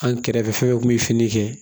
An kɛrɛfɛ kun bɛ fini kɛ